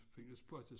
Findes spor til